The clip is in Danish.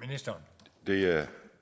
ministeren